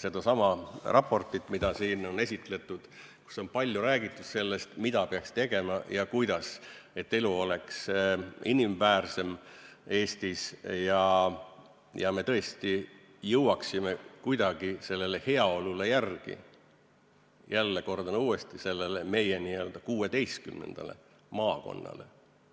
sedasama raportit, mida siin on esitletud ja kus on palju räägitud sellest, mida ja kuidas peaks tegema, et elu oleks Eestis inimväärsem ja me tõesti jõuaksime kuidagi järele sellele heaolule – jälle, kordan uuesti –, sellele meie n-ö 16. maakonnale.